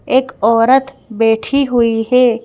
एक औरत बैठी हुई है।